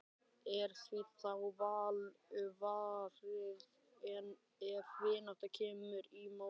Er því þá vel varið ef vinátta kemur í mót.